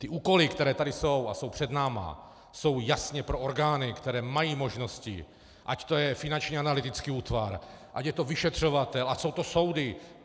Ty úkoly, které tady jsou a jsou před námi, jsou jasně pro orgány, které mají možnosti, ať to je Finanční analytický útvar, ať je to vyšetřovatel, ať jsou to soudy.